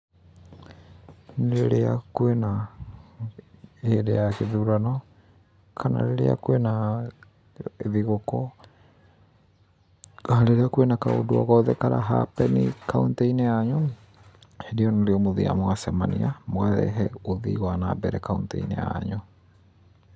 Rĩrĩa kwĩna hĩndĩ ya gĩthurano, kana rĩrĩra kwĩna thigũkũ, kana rĩrĩa kwĩna kaũndũ o gothe kara happen i kaũntĩ-inĩ yanyũ, hĩndĩ ĩyo nĩrĩo mũthiaga mũgacemania, mũkarehe ũthii wa nambere kaũntĩ-inĩ yanyu.